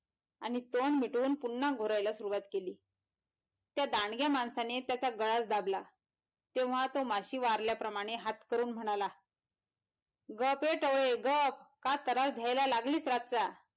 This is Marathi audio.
आणि तोंड मिटवून पुनः घोरायला सुरवात केली त्या दांडघ्यां माणसाने त्याचा गळाच दाबला तेव्हा तो माशी वारल्या प्रमाणे हात करून म्हणाला गप ये टवळे गप काय तरास द्यायला लागलीस राच्याला.